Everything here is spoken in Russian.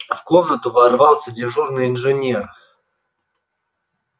в комнату ворвался дежурный инженер